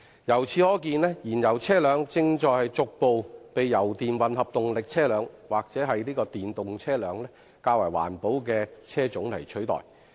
由此可見，燃油車輛正逐步被油電混合動力車輛及電動車輛等較環保的車輛取代。